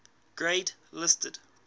grade listed